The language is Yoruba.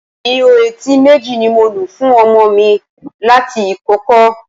Ihò etí méjì ni mo lu fún ọmọ mi láti ìkókó